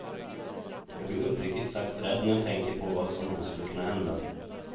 Jag blir uppriktigt sagt rädd när jag tänker på vad som då skulle kunna hända.